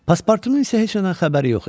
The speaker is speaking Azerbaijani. Paspartunun isə heç nədən xəbəri yox idi.